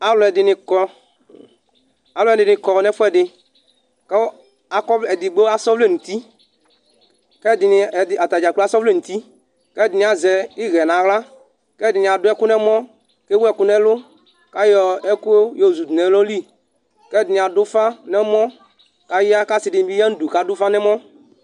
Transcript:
aloɛdini kɔ aloɛdini kɔ no ɛfoɛdi ko akɔ edigbo asɛ ɔvlɛ n'uti ko ɛdini ɛdi atadza asɛ ɔvlɛ n'uti ko ɛdini azɛ iɣɛ no ala ko ɛdini ado ɛkó n'ɛmɔ ko ewu ɛkó n'ɛlɔ k'ayɔ ɛko yozu du no ɛlo li ko ɛdini ado ufa no ɛmɔ k'aya k'ase dini bi ya n'udu k'ado ufa n'ɛmɔ